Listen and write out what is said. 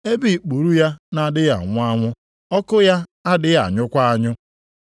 ebe “ ‘ikpuru ya na-adịghị anwụ anwụ, ọkụ ya adịghị anyụkwa anyụ.’ + 9:46 Ụfọdụ akwụkwọ na-edebanye okwu ndị a dị nʼamaokwu nke 48.